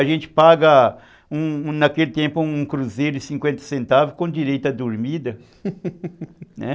A gente paga naquele tempo um cruzeiro de cinquenta centavos com direito à dormida, né?